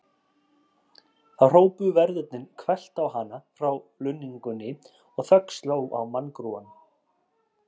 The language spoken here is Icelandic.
Þá hrópuðu verðirnir hvellt á hana frá lunningunni og þögn sló á manngrúann.